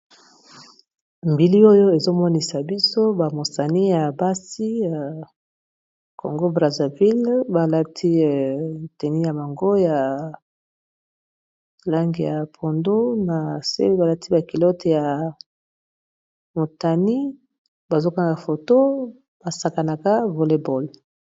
Bilili oyo ezomonisa biso ba mosani ya basi ya congo brazzaville, balati tenu ya bango ya langi ya pondu, na se balati ba culotte ya motani bazo kanga foto, basakanaka volleball.